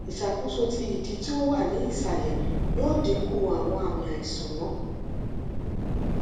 iṣakoso ti idi ti o wa ni isalẹ yoo dinku awọn aami aisan naa